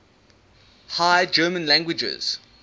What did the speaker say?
high german languages